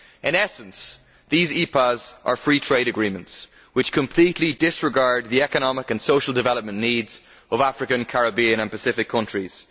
In essence these EPAs are free trade agreements which completely disregard the economic and social development needs of African, Caribbean and Pacific countries.